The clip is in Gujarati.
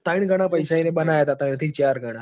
તન ગણા પૈસા એન અન્ય હતા. ત્રણ થી ચાર ગણા.